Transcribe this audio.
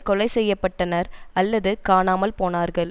கொலை செய்ய பட்டனர் அல்லது காணாமல் போனார்கள்